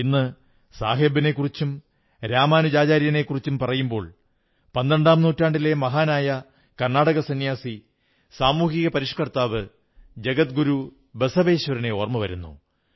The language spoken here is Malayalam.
ഇന്ന് ബാബാ സാഹബിനെക്കുറിച്ചും രാമാനുജാചാര്യനെക്കുറിച്ചും പറയുമ്പോൾ 12 ാം നൂറ്റാണ്ടിലെ മഹാനായ കർണ്ണാടക സംന്യാസി സാമൂഹിക പരിഷ്കർത്താവ് ജഗത് ഗുരു ബസവേശ്വരനെ ഓർമ്മ വരുന്നു